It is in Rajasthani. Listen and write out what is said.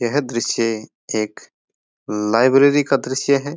यह दृश्य एक लाइब्रेरी का दृश्य है।